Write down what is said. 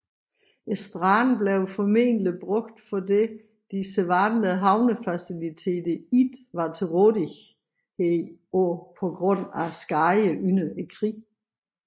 Stranden blev formentlig brugt fordi de sædvanlige havnefaciliteter ikke var til rådighed på grund af skader under krigen